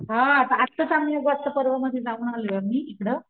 हा आत्ताच आम्ही युग आत्ता पर्वा मध्ये जाऊन आलोय आम्ही इकड.